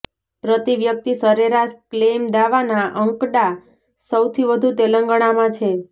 પ્રતિ વ્યક્તિ સરેરાશ ક્લેઈમ દાવાના અંકડા સૌથી વધુ તેલંગણામાં છે